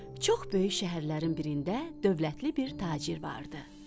Çox böyük şəhərlərin birində dövlətli bir tacir vardı.